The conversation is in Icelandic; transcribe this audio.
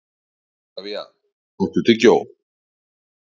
Oktavía, áttu tyggjó?